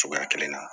Cogoya kelen na